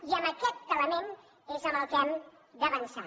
i en aquest element és en què hem d’avançar